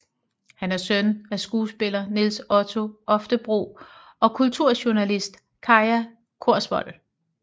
Han er søn af skuespiller Nils Ole Oftebro og kulturjournalist Kaja Korsvold